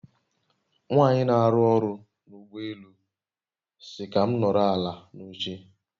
Nwanyi n'aru oru n'ugbo elu si ka m noro ala n'oche